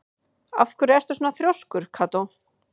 Af hverju ertu svona þrjóskur, Kató?